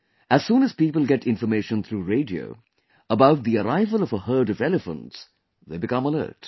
As soon as people get information through radio about the arrival of a herd of elephants, they become alert